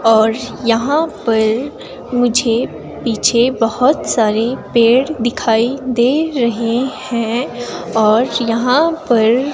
और यहां पर मुझे पीछे बहुत सारे पेड़ दिखाई दे रहे हैं और यहां पर --